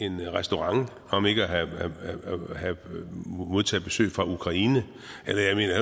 en restaurant om ikke at modtage besøg fra ukraine